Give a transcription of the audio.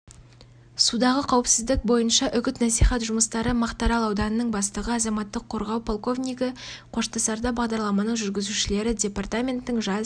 судағы қауіпсіздік бойынша үгіт-насихат жұмыстары мақтаарал ауданының бастығы азаматтық қорғау полковнигі қоштасарда бағдарламаның жүргізушілері департаменттің жас